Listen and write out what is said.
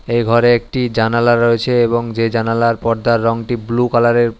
এই ঘরে একটি জানালা রয়েছে এবং যে জানালার পর্দার রঙটি ব্লু কালারের।